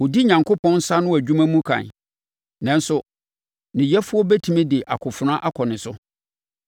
Ɔdi Onyankopɔn nsa ano adwuma mu kan, nanso ne Yɛfoɔ bɛtumi de akofena akɔ ne so.